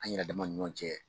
An yɛrɛ dama ni ɲɔgɔn cɛ